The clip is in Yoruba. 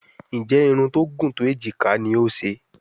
Nje Irun tó gún tó ejika ní o ń ṣe?